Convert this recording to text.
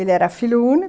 Ele era filho único.